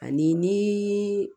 Ani ni